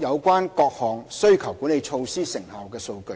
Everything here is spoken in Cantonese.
有關各項需求管理措施成效的數據。